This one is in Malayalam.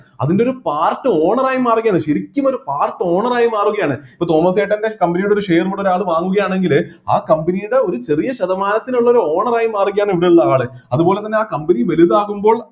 അതിൻ്റെ ഒരു part owner ആയി മാറുകയാണ് ശരിക്കും ഒരു part owner ആയി മാറുകയാണ് ഇപ്പൊ തോമസേട്ടൻ്റെ company യുടെ ഒരു share മുതൽ ആള് വാങ്ങുകയാണെങ്കില് ആ company യുടെ ഒരു ചെറിയ ശതമാനത്തിനുള്ള ഒരു owner ആയി മാറുകയാണ് ഇവിടെയുള്ള ആള് അതുപോലെതന്നെ ആ company വലുതാകുമ്പോൾ